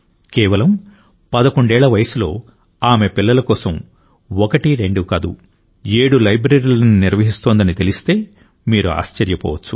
కేవలం 11 ఏళ్ల వయస్సులో ఆమె పిల్లల కోసం ఒకటి రెండు కాదు ఏడు లైబ్రరీలను నిర్వహిస్తోందని తెలిస్తే మీరు ఆశ్చర్యపోవచ్చు